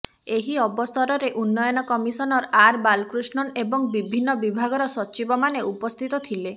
ଏହି ଅବସରରେ ଉନ୍ନୟନ କମିସନର ଆର୍ ବାଲକୃଷ୍ଣନ ଏବଂ ବିଭିନ୍ନ ବିଭାଗର ସଚିବମାନେ ଉପସ୍ଥିତ ଥିଲେ